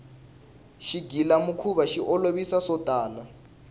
xigila mikhuva xi olovisa swotala